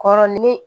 Kɔrɔ ni ne